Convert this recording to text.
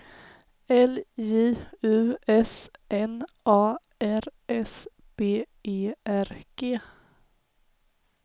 L J U S N A R S B E R G